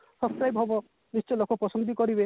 subscribe ହବ ନିଶ୍ଚୟ ଲୋକ ପସନ୍ଦ ବି କରିବେ